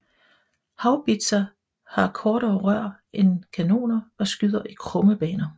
Haubitser har kortere rør end kanoner og skyder i krumme baner